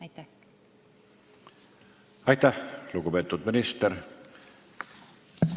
Aitäh, lugupeetud minister!